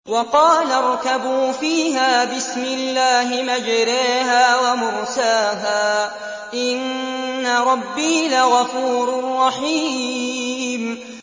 ۞ وَقَالَ ارْكَبُوا فِيهَا بِسْمِ اللَّهِ مَجْرَاهَا وَمُرْسَاهَا ۚ إِنَّ رَبِّي لَغَفُورٌ رَّحِيمٌ